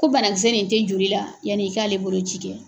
Ko banakisɛ nin tɛ joli la yanni i k'ale boloci kɛ.